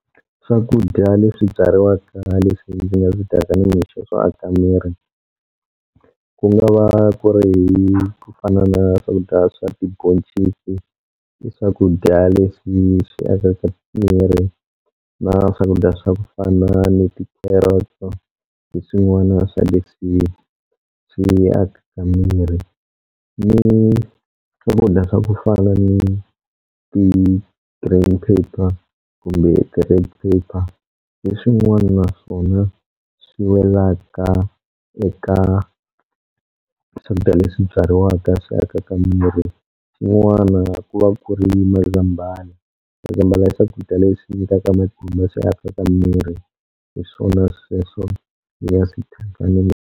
Swakudya leswi byariwaka leswi ndzi nga swi dyaka nimixo swo aka miri ku nga va ku ri ku fana na swakudya swa tibhoncisi i swakudya leswi swi akaka miri na swakudya swa ku fana ni ti-carrots-o hi swin'wana swa leswi swi aka miri ni swakudya swa ku fana ni ti-green paper kumbe green paper hi swin'wana naswona swi welaka eka swakudya leswi byariwaka swi akaka miri xin'wana ku va ku ri mazambhala, mazambhala i swakudya leswi nyikaka matimba swi akaka miri hi swona sweswo ndzi nga swi dyaka .